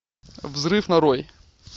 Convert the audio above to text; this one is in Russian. взрыв нарой